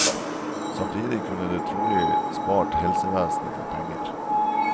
Samtidig kunne det trolig spart helsevesenet for penger.